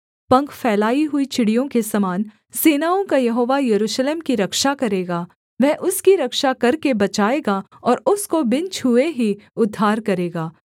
पंख फैलाई हुई चिड़ियों के समान सेनाओं का यहोवा यरूशलेम की रक्षा करेगा वह उसकी रक्षा करके बचाएगा और उसको बिन छूए ही उद्धार करेगा